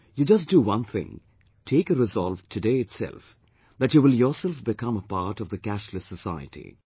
You just do one thing, take a resolve today itself that you will yourself become a part of the 'cashless society'